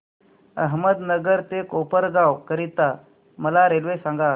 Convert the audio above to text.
अहमदनगर ते कोपरगाव करीता मला रेल्वे सांगा